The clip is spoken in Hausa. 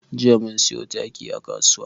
Jiya mun siyo taki a kasuwa.